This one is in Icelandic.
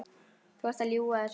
Þú ert að ljúga þessu!